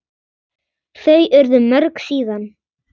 Þau urðu mörg síðan.